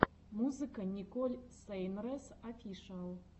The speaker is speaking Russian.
музыка николь сейнрэс офишиал